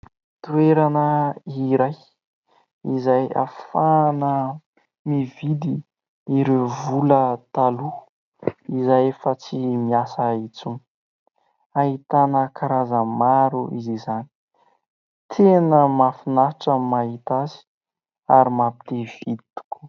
Toerana iray izay hafahana mividy ireo vola taloha izay efa tsy miasa intsony . Hahitana karazany maro izy izany tena mahafinatra mahita azy ary mampite hividy tokoa .